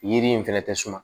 Yiri in fɛnɛ tɛ suma